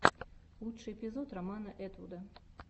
лучший эпизод романа этвуда